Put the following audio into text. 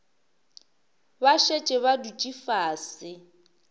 ba šetše ba dutše fase